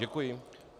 Děkuji.